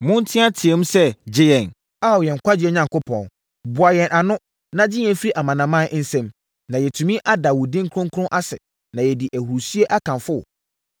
Monteateam sɛ, “Gye yɛn, Ao yɛn nkwagyeɛ Onyankopɔn! Boa yɛn ano, na gye yɛn firi amanaman nsam, na yɛatumi ada wo din kronkron ase, na yɛadi ahurisie akamfo wo.”